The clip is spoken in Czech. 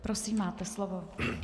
Prosím, máte slovo.